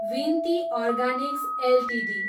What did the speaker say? विनती organics Ltd